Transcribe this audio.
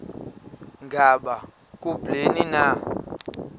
ngaba kubleni na